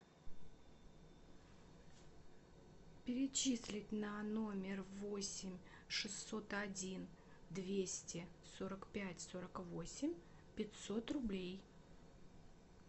перечислить на номер восемь шестьсот один двести сорок пять сорок восемь пятьсот рублей